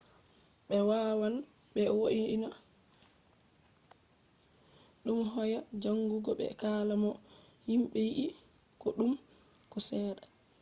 be wawan be vo’ina dum hoya jangugo be kala no himbe yidi ko duddum ko sedda